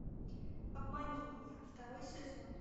обмани меня второй сезон